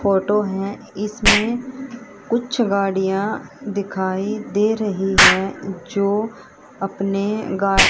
photo है इसमें कुछ गाड़ियां दिखाई दे रही है जो अपने गा--